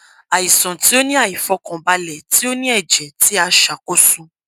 aisan ti o ni aifọkanbalẹ ti o ni ẹjẹ ti a a ṣakoso